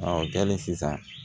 o kɛlen sisan